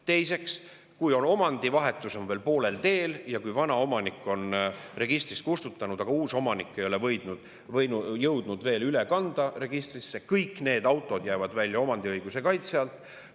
Teiseks, kui omandivahetus on veel poolel teel ja kui vana omanik on registrist kustutanud, aga uus omanik ei ole jõudnud veel üle kanda registrisse, siis kõik need autod jäävad välja omandiõiguse kaitse alt.